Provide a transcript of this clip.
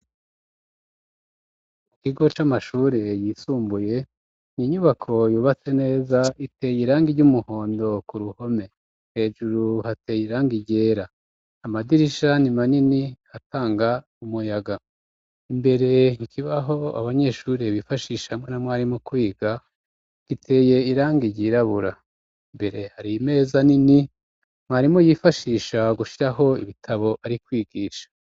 Mukigo c'amashuri yisumbuye ninyubako yubatse neza iteye irangi ry'umuhondo ku ruhome hejuru hateye irangi igera amadirisha ni manini hatanga umuyaga imbere ikibaho abanyeshuri bifashisha hamwe na mwarimu kwiga giteye irangi yirabura mbere hari meza nini mwarimu yifashisha gushyiraho ibitabo ari kwigisha.